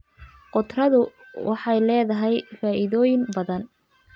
Khudradu waxay leedahay faa'iidooyin badan.